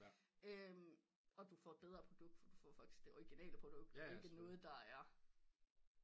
Og du får et bedre produkt for du får faktisk det orginale produkt ikke noget der er